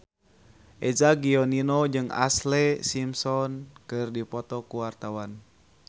Eza Gionino jeung Ashlee Simpson keur dipoto ku wartawan